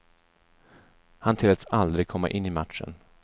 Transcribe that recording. Han tilläts aldrig komma in i matchen.